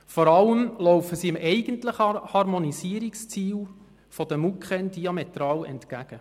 Vor allem laufen sie dem eigentlichen Harmonisierungsziel der Mustervorschriften der Kantone im Energiebereich (MuKEn) diametral entgegen.